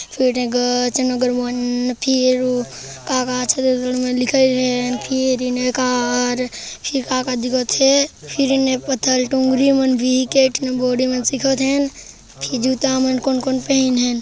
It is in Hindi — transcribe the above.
सीढ़ी ने गच नगर बंद फिर का का छत्तीसगढ़ी में लिखेल हे टियर का कार फिर का का दिखत हे फिर इन्हें पथर दुगली मन भी केठन बॉडी में भी दिखत हे न फिर जूता मन कोन कोन पहिन हय।